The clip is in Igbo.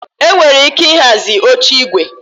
Enwere ike ịhazi oche igwe